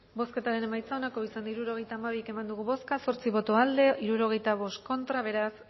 bozketaren emaitza onako izan da hirurogeita hamairu eman dugu bozka zortzi boto aldekoa sesenta y cinco contra beraz